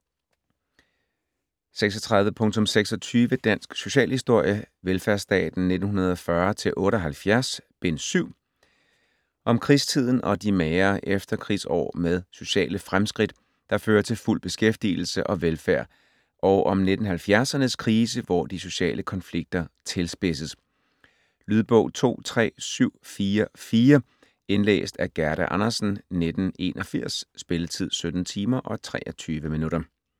30.26 Dansk socialhistorie: Velfærdsstaten 1940-78: Bind 7 Om krigstiden og de magre efterkrigsår med sociale fremskridt, der fører til fuld beskæftigelse og velfærd og om 1970'ernes krise, hvor de sociale konflikter tilspidses. Lydbog 23744 Indlæst af Gerda Andersen, 1981. Spilletid: 17 timer, 23 minutter.